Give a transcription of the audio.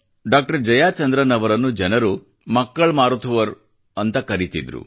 doctor Jayachandran ಅವರನ್ನು ಜನರು ಮಕ್ಕಳ್ ಮಾರುಥುವರ್ ಎಂದು ಕರೆಯುತ್ತಿದ್ದರು